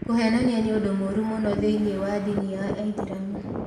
Kũheenania nĩ ũndũ mũũru mũno thĩinĩ wa ndini ya Islamu.